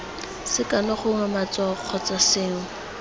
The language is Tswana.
sekano gongwe matshwao kgotsa sengwe